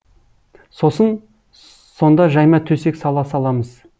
сосын сонда жайма төсек сала саламыз